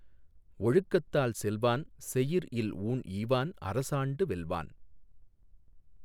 ஒழுக்கத்தால் செல்வான் செயிர் இல் ஊண் ஈவான் அரசாண்டு வெல்வான்